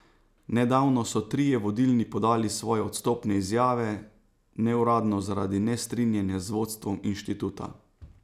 Nedavno so trije vodilni podali svoje odstopne izjave, neuradno zaradi nestrinjanja z vodstvom inštituta.